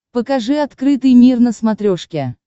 покажи открытый мир на смотрешке